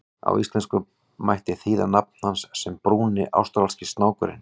Á íslensku mætti þýða nafn hans sem Brúni ástralski snákurinn.